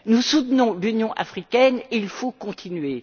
Nous soutenons l'Union africaine et il faut continuer.